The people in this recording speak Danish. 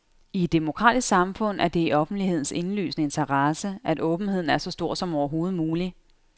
I et demokratisk samfund er det i offentlighedens indlysende interesse, at åbenheden er så stor som overhovedet muligt.